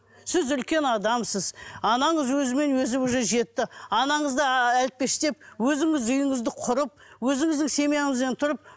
сіз үлкен адамсыз анаңыз өзімен өзі уже жетті анаңызды ы әлпештеп өзіңіз үйіңізді құрып өзіңіздің семьяңызбен тұрып